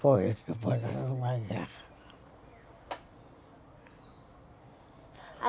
Foi,